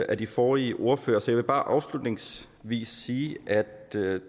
af de forrige ordførere så jeg vil bare afslutningsvis sige at